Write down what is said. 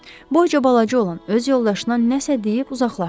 Boyca balaca olan öz yoldaşına nəsə deyib uzaqlaşdı.